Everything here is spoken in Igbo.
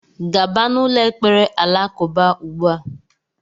Gaba n' ụlọ ekpere alakụba ugbua!!!!